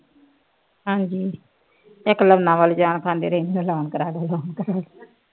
ਹਾਂਜੀ ਇੱਕ ਲੋਨਾਂ ਵਾਲੇ ਜਾਨ ਖਾਂਦੇ ਰਹਿੰਦੇ loan ਕਰਾਦੇ loan ਕਰਾਦੇ